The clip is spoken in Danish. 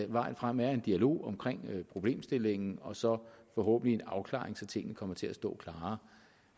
vejen frem er en dialog om problemstillingen og så forhåbentlig en afklaring så tingene kan komme til at stå klarere